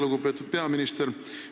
Lugupeetud peaminister!